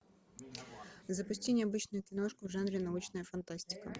запусти необычную киношку в жанре научная фантастика